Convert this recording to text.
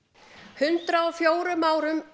hundrað og fjórum árum